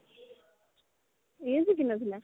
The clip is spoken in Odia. ସିଏ ଶିଖି ନଥିଲା